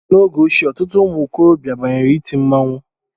N'oge ochie, ọtụtụ ụmụ okorobịa banyere iti mmanwụ